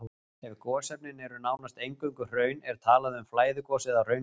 Ef gosefnin eru nánast eingöngu hraun er talað um flæðigos eða hraungos.